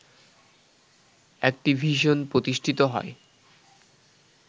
Activision প্রতিষ্ঠিত হয়